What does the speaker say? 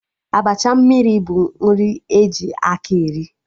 Abacha mmiri bụ nri e ji akị eri